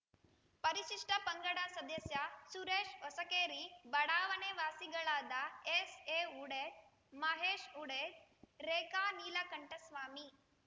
ಪರಿಶಿಷ್ಟ ಪಂಗಡ ಸದಸ್ಯ ಸುರೇಶ್‌ಹೊಸಕೇರಿ ಬಡಾವಣೆ ವಾಸಿಗಳಾದ ಎಸ್‌ಎಹುಡೇ ಮಹೇಶ್‌ಹುಡೇ ರೇಖಾನೀಲಕಂಠಸ್ವಾಮಿ